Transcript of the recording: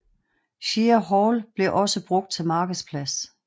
Shire Hall blev også brugt til markedsplads